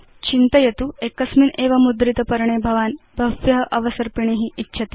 चिन्तयाम एकस्मिन् एव मुद्रित पर्णे भवान् कतिपय अवसर्पिणी इच्छति